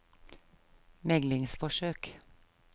meglingsforsøk